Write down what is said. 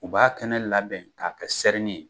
U b'a kɛnɛ labɛn k'a kɛ serini ye.